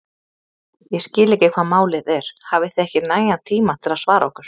Ég skil ekki hvað málið er, hafið þið ekki nægan tíma til að svara okkur?!